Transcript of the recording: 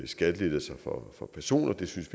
skattelettelser for personer det synes